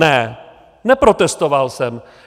Ne, neprotestoval jsem.